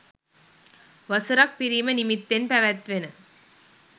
වසර ක් පිරීම නිමිත්තෙන් පැවැත්වෙන